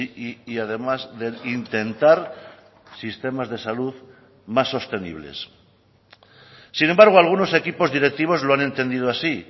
y además de intentar sistemas de salud más sostenibles sin embargo algunos equipos directivos lo han entendido así